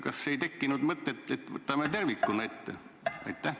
Kas ei tekkinud mõtet, et võtame palgad tervikuna ette?